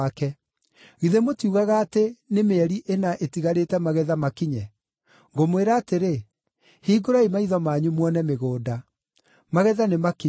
Githĩ mũtiugaga atĩ, ‘Nĩ mĩeri ĩna ĩtigarĩte magetha makinye’? Ngũmwĩra atĩrĩ, hingũrai maitho manyu muone mĩgũnda! Magetha nĩmakinyu.